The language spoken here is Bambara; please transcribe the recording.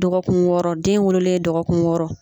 Dɔgɔkun wɔɔrɔ den wololen dɔgɔkun wɔɔrɔ